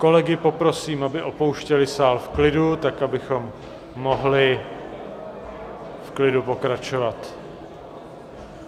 Kolegy poprosím, aby opouštěli sál v klidu tak, abychom mohli v klidu pokračovat.